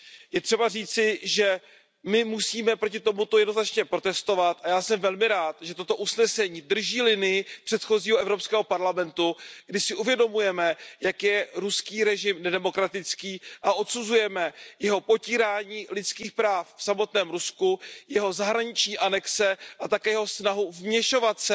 Je třeba říci, že my musíme proti tomuto jednoznačně protestovat, a já jsem velmi rád, že toto usnesení drží linii předchozího Evropského parlamentu, kdy si uvědomujeme, jak je ruský režim nedemokratický a odsuzujeme jeho potírání lidských práv v samotném Rusku, jeho zahraniční anexe a také jeho snahu vměšovat se